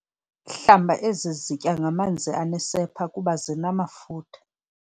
Hlamba ezi zitya ngamanzi anesepha kuba zinamafutha.